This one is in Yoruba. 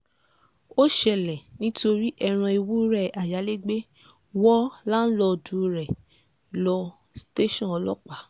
ó ṣẹlẹ̀ nítorí ẹran ewúrẹ́ ayálégbé wo láǹlọ́ọ̀dù rẹ̀ ló tẹ̀sán ọlọ́pàá